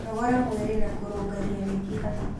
Nogora mwĩrĩ na kũrũngaria mĩkiha